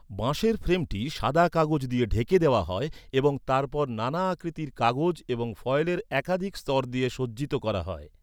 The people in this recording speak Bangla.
বাঁশের ফ্রেমটি সাদা কাগজ দিয়ে ঢেকে দেওয়া হয় এবং তারপর নানা আকৃতির কাগজ এবং ফয়েলের একাধিক স্তর দিয়ে সজ্জিত করা হয়।